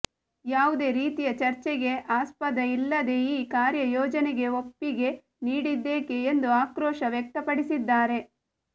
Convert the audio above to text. ಯಾವುದೇ ರೀತಿಯ ಚರ್ಚೆಗೆ ಆಸ್ಪದ ಇಲ್ಲದೆ ಈ ಕಾರ್ಯ ಯೋಜನೆಗೆ ಒಪ್ಪಿಗೆ ನೀಡಿದ್ದೇಕೆ ಎಂದು ಆಕ್ರೋಶ ವ್ಯಕ್ತಪಡಿಸಿದ್ದಾರೆ